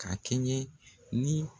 Ka kɛɲɛ ni